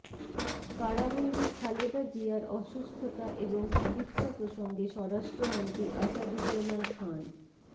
কারাবন্দি খালেদা জিয়ার অসুস্থতা এবং চিকিৎসা প্রসঙ্গে স্বরাষ্ট্রমন্ত্রী আসাদুজ্জামান খাঁন